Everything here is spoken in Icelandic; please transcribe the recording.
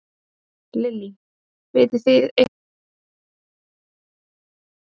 Lillý: Vitið þið eitthvað hvernig staðan er á húsinu?